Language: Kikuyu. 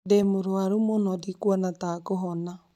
Ndĩ mũrũaru mũno. Ndikwona ta ngũhona